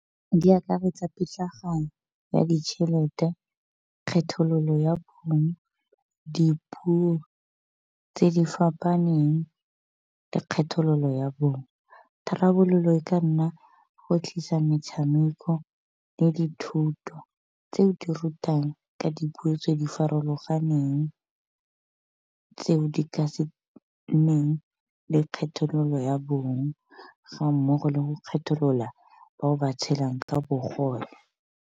Di akaretsa pitlagano ya ditšhelete, kgethololo ya bong, dipuo tse di fapaneng, le kgethololo ya bong. Tharabololo e ka nna go tlisa metshameko le dithuto tseo di rutang ka dipuo tse di farologaneng, tseo di ka se neng le kgethololo ya bong ga mmogo le go kgetholola boa ba tshelang ka bogole.